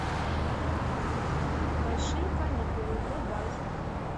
большие каникулы врубай